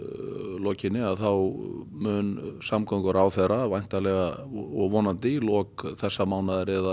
lokinni mun samgönguráðherra vonandi í lok þessa mánaðar eða